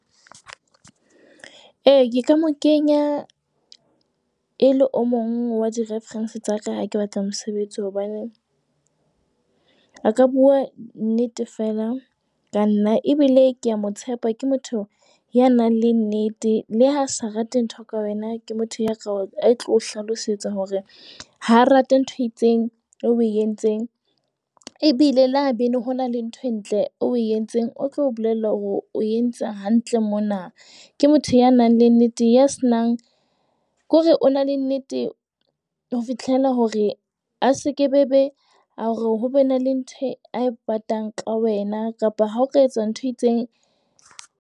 E, ka mo kenya e le o mong wa di-reference tsa ka ha ke batla mosebetsi hobane a ka bua nnete fela ka nna. Ebile ke a mo tshepa. Ke motho ya nang le nnete. Le ha sa rate ntho ka wena, ke motho ya ka e tlo hlalosetsa hore ha rate ntho e itseng o entseng. Ebile thabanchu. ho na le ntho e ntle eo o entseng o tlo bolella hore o entse hantle mona. Ke motho ya nang le nnete ya senang, ke hore o na le nnete ho fihlela hore a seke bebe hore ho be na le ntho e a ipatang ka wena kapa ha o ka etsa ntho e itseng.